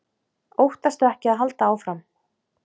Óttastu ekki og haltu áfram!